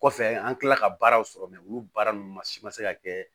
Kɔfɛ an kilala ka baaraw sɔrɔ olu baara ninnu ma se ka kɛ